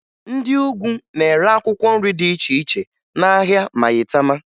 Ndị Ugwu na-ere akwụkwọ nri dị iche iche n'ahịa Mayịtama